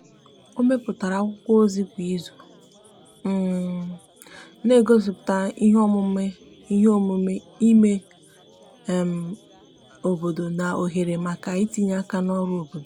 o meputara akwụkwo ozi kwa izu um n'egosiputa ihe omume ihe omume ime um obodo na ohere maka itinye aka n'ọrụ obodo